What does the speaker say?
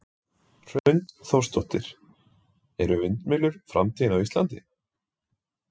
Hrund Þórsdóttir: Eru vindmyllur framtíðin á Íslandi?